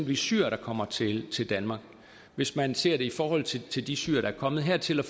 de syrere der kommer til til danmark hvis man ser det i forhold til til de syrere der er kommet hertil og